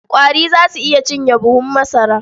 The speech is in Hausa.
Ƙwari za su iya cinye buhun masara.